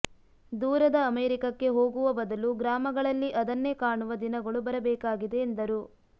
ದೂರದ ಅಮೆರಿಕಕ್ಕೆ ಹೋಗುವ ಬದಲು ಗ್ರಾಮಗಳಲ್ಲಿ ಅದನ್ನೇ ಕಾಣುವ ದಿನಗಳು ಬರಬೇಕಾಗಿದೆ ಎಂದರು